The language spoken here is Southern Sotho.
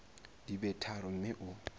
di be tharo mme o